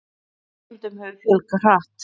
En nemendum hefur fjölgað hratt.